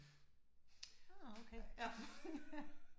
Åh okay